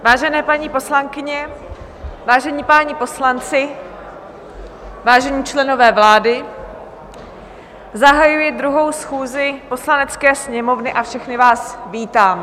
Vážené paní poslankyně, vážení páni poslanci, vážení členové vlády, zahajuji 2. schůzi Poslanecké sněmovny a všechny vás vítám.